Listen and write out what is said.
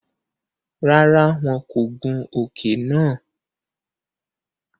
Rárá, wọn kò gùn òke nàá